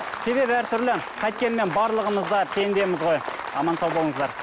себебі әртүрлі қайткенмен барлығымыз да пендеміз ғой аман сау болыңыздар